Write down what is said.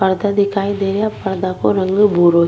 पर्दा दिखाई दे रहा पर्दा को रंग भूरो --